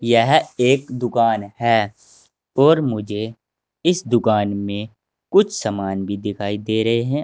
यह एक दुकान है और मुझे इस दुकान में कुछ सामान भी दिखाई दे रहे हैं।